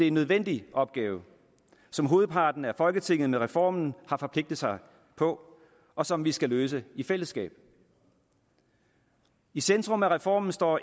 en nødvendig opgave som hovedparten af folketinget med reformen har forpligtet sig på og som vi skal løse i fællesskab i centrum af reformen står